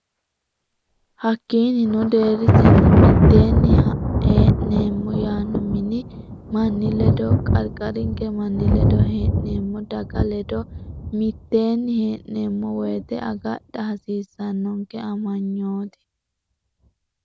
Hakkiinnino, deerrisinni mitteenni hee’neemmo yaano mini manni ledo, qarqarinke manni ledo, hee’neemmo daga ledo mitteenni hee’neemmo woyite agadha hasiissannonke amanyooti.